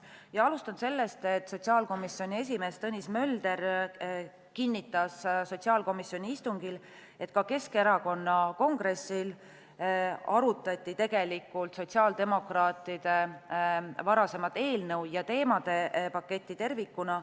Ja alustan sellest, et sotsiaalkomisjoni esimees Tõnis Mölder kinnitas sotsiaalkomisjoni istungil, et ka Keskerakonna kongressil arutati tegelikult sotsiaaldemokraatide varasemat eelnõu ja teemade paketti tervikuna.